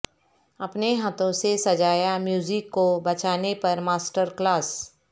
اپنے ہاتھوں سے سجایا موزیک کو بچانے پر ماسٹر کلاس